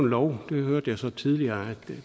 lov jeg hørte så tidligere at